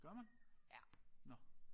Gør man? Nåh